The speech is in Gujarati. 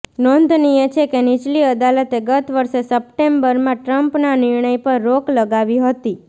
નોંધનીય છે કે નીચલી અદાલતે ગત વર્ષે સપ્ટેમ્બરમાં ટ્રમ્પના નિર્ણય પર રોક લગાવી હતી